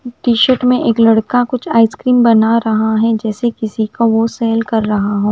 T shirt में एक लड़का कुछ आइसक्रीम बना रहा है जैसे किसी का वो सेल्ल कर रहा हो।